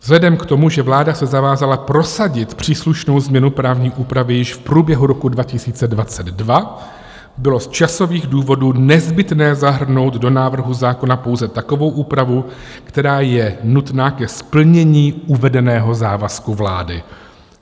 Vzhledem k tomu, že vláda se zavázala prosadit příslušnou změnu právní úpravy již v průběhu roku 2022, bylo z časových důvodů nezbytné zahrnout do návrhu zákona pouze takovou úpravu, která je nutná ke splnění uvedeného závazku vlády.